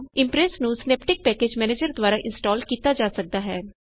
Impress ਨੂੰ synaptic package manager ਦਵਾਰਾ install ਕੀਤਾ ਜਾ ਸਕਦਾ ਹੈ